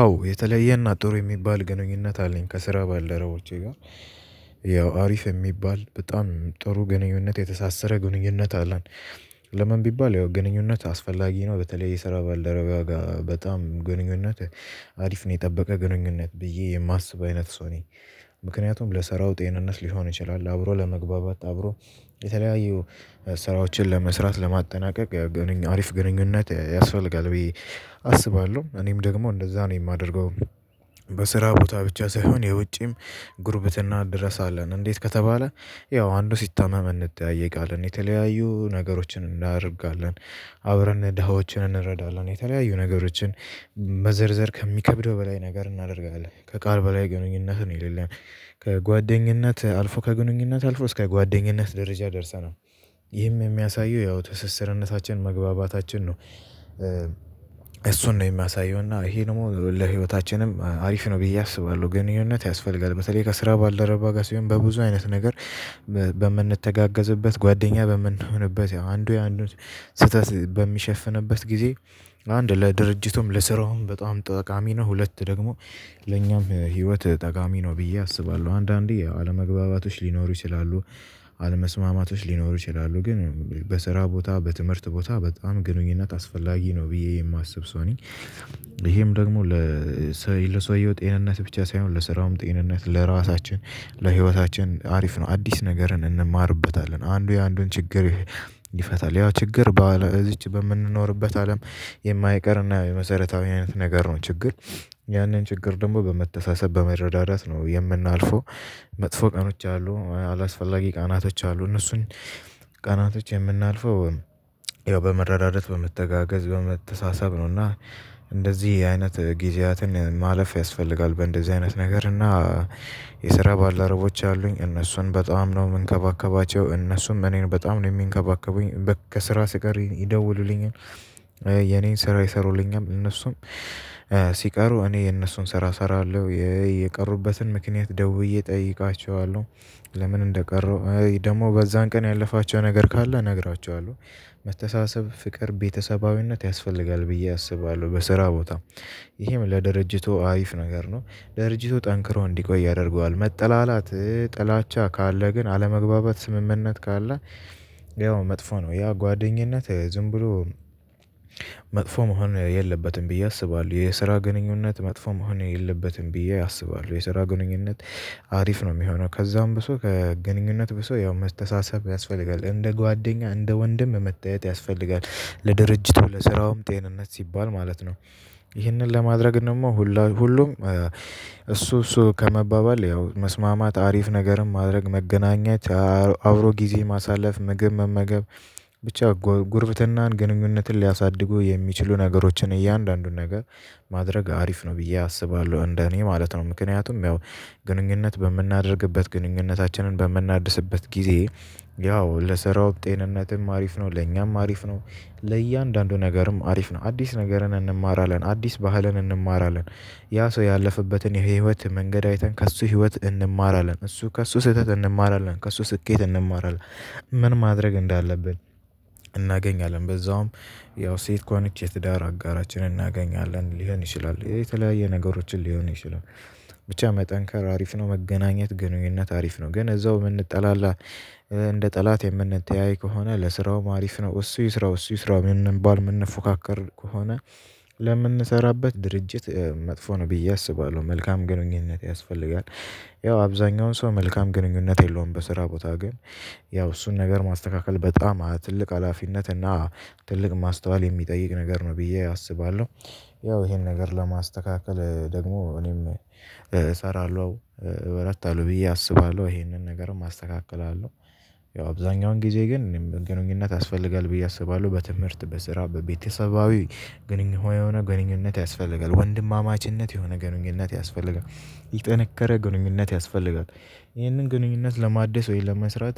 አዎ የተለየ እና ጥሩ የሚባል ግንኙነት አለኝ ከስራ ባልደረቦቼ ጋር። ያው አሪፍ የሚባል በጣም ጥሩ ግንኙነት የተሳሰረ ግንኙነት አለን። ለምን ቢባል ያው ግንኙነት አስፈላጊ ነው። በተለይ የሰራ ባልደረባ ጋር በጣም ግንኙነት አሪፍ ነው የጠበቀ ግንኙነት ብዬ የማስብ አይነት ሰው ነኝ። ምክንያቱም ለስራው ጤንነት ሊሆን ይችላል አብሮ ለመግባባት አብሮ የተለያዩ ስራዎችን ለመስራት ለማጠናቀቅ ግንኙነት አሪፍ ግንኙነት ያስፈልጋል ብዬ አስባለሁ እኔም ደግሞ እንደዛ ነው የማደርገው። በስራ ቦታ ብቻ ሳይሆን የውጪም ጉርብትና ድረስ አለን እንዴት ከተባለ ያው አንዱ ሲታመም እንጠያየቃለን የተለያዩ ነገሮችን እናደርጋለን። አብረን ደሃዎችን እንረዳለን የተለያዩ ነገሮችን። መዘርዘር ከሚከብደው በላይ ነገር እናደርጋለን ከቃል በላይ ግንኙነት ነው የሌለን። ከጓደኝነት አልፎ ከግንኙነት አልፎ እስከ ጓደኝነት ደረጃ ደርሰናል። ይህም የሚያሳየው ያው ትስስርነታችን መግባባታችን ነው። እሱን ነው የሚያሳየው እና ይሄ ደግሞ ለህይወታችንም አሪፍ ነው ብዬ አስባለሁ። ግንኙነት ያስፈልጋል በተለይ ከስራ ባልደረባ ጋር ሲሆን በብዙ አይነት ነገር። በምንተጋገዝበት ጓደኛ በምንሆንበት ያው አንዱ የአንዱ ስህተት በሚሸፍንበት ጊዜ አንድ ለድርጅቱም ለስራውም በጣም ጠቃሚ ነው። ሁለት ደግሞ ለኛም ህይወት ጠቃሚ ነው ብዬ አስባለሁ። አንዳንዴ አለመግባባቶች ሊኖሩ ይችላሉ። አለመስማማቶች ሊኖሩ ይችላሉ ግን በስራ ቦታ በትምህርት ቦታ በጣም ግንኙነት አስፈላጊ ነው ብዬ የማስብ ሰው ነኝ። ይሄም ደግሞ ለሰውየው ጤንነት ብቻ ሳይሆን ለስራውም ጤንነት ለራሳችን ለህይወታችን አሪፍ ነው። አዲስ ነገርን እንማርበታለን አንዱ የአንዱን ችግር ይፈታል ያ ችግር በዚች በምንኖርበት አለም። የማይቀር እና የመሰረታዊ አይነት ነገር ነው። ችግር ያንን ችግር ደግሞ በመተሳሰብ በመረዳዳት ነው የምናልፈው። መጥፎ ቀኖች አሉ አላስፈላጊ ቀናቶች አሉ። እነሱን ቀናቶች የምናልፈው ያው በመረዳዳት በመተጋገዝ በመተሳሰብ ነው። እና እንደዚህ አይነት ጊዜያትን ማለፍ ያስፈልጋል። በእንደዚህ አይነት ነገር እና የስራ ባልደረቦች አሉኝ እነሱን በጣም ነው የምንከባከባቸው እነሱም እኔን በጣም ነው የሚንከባከቡኝ ከስራ ስቀር ይደውሉልኛል። የኔን ስራ ይሰሩልኛል እነሱም ሲቀሩ እኔ የነሱን ስራ እሰራለሁ የቀሩበትን ምክንያት ደውዬ እጠይቃቸዋለሁ። ለምን እንደቀረው ደግሞ በዛን ቀን ያለፋቸው ነገር ካለ እነግራቸኋለሁ። መተሳሰብ ፍቅር ቤተሰባዊነት ያስፈልጋል ብዬ አስባለሁ። በስራ ቦታ ይሄም ለድርጅቱ አሪፍ ነገር ነው። ድርጅቱ ጠንክሮ እንዲቆይ ያደርገዋል። መጠላላት ጥላቻ ካለ ግን አለመግባባት ስምምነት ካለ። ያው መጥፎ ነው ያ ጓደኝነት ዝም ብሎ መጥፎ መሆን የለበትም ብዬ አስባለሁ። የስራ ግንኙነት መጥፎ መሆን የለበትም ብዬ አስባለሁ። የስራ ግንኙነት አሪፍ ነው። የሚሆነው ከዛም ብሶ ከግንኙነት ብሶ ያው መስተሳሰብ ያስፈልጋል እንደ ጓደኛ እንደ ወንድም መተያየት ያስፈልጋል። ለድርጅቱ ለስራውም ጤንነት ሲባል ማለት ነው። ይህንን ለማድረግ ደግሞ ሁሉ ሁሉም እሱ እሱ ከመባባል ያው መስማማት አሪፍ ነገርም ማድረግ መገናኛት። አብሮ ጊዜ ማሳለፍ ምግብ መመገብ ብቻ ጉርብትናን ግንኙነትን ሊያሳድጉ የሚችሉ ነገሮችን እያንዳንዱን ነገር ማድረግ አሪፍ ነው። ብዬ አስባለሁ እንደ እኔ ማለት ነው። ምክንያቱም ያው ግንኙነት በምናደርግበት ግንኙነታችንን በምናድስበት ጊዜ ያው ለስራው ጤንነትም አሪፍ ነው ለኛም አሪፍ ነው። ለእያንዳንዱ ነገርም አሪፍ ነው አዲስ ነገርን እንማራለን። አዲስ ባህልን እንማራለን። ያ ሰው ያለፈበትን የህይወት መንገድ አይተን ከእሱ ህይወት እንማራለን እሱ ከእሱ ስህተት እንማራለን ከእሱ ስኬት እንማራለን። ምን ማድረግ እንዳለብን እናገኛለን። በዛውም ያው ሴት ከሆነች የትዳር አጋራችንን እናገኛለን ሊሆን ይችላል። የተለያየ ነገሮችን ሊሆን ይችላል። ብቻ መጠንከር አሪፍ ነው መገናኘት ግንኙነት አሪፍ ነው። ግን እዛው የምንጠላላ እንደ ጠላት የምንተያይ ከሆነ ለስራውም ማሪፍ ነው እሱ ይስራው እሱ ይስራው የምንባል የምንፎካከር ከሆነ። ለምንሰራበት ድርጅት መጥፎ ነው ብዬ አስባለሁ። መልካም ግንኙነት ያስፈልጋል። ያው አብዛኛውን ሰው መልካም ግንኙነት የለውም በስራ ቦታ ግን። ያው እሱን ነገር ማስተካከል በጣም ትልቅ ሀላፊነት እና ትልቅ ማስተዋል የሚጠይቅ ነገር ነው ብዬ አስባለሁ። ያው ይሄን ነገር ለማስተካከል ደግሞ እኔም እሰራለሁ። እበረታለሁ ብዬ አስባለሁ ይሄንን ነገርም አስተካክላለሁ። ያው አብዛኛውን ጊዜ ግን ግንኙነት ያስፈልጋል ብዬ አስባለሁ። በትምህርት በስራ በቤተሰባዊ ግንኙነት የሆነ ግንኙነት ያስፈልጋል ወንድማማችነት የሆነ ግንኙነት ያስፈልጋል። ይጠነከረ ግንኙነት ያስፈልጋል። ይህንን ግንኙነት ለማደስ ወይም ለመስራት።